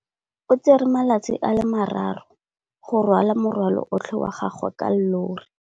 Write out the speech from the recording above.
O tsere malatsi a le marraro go rwala morwalo otlhe wa gagwe ka llori.